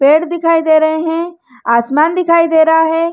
पेड़ दिखाई दे रहे हैं आसमान दिखाई दे रहा है।